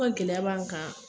gɛlɛya b'an kan.